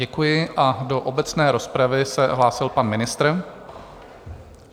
Děkuji a do obecné rozpravy se hlásil pan ministr.